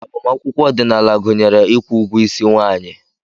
Agbamakwụkwọ ọdịnala gụnyere ịkwụ ugwo isi nwaanyi.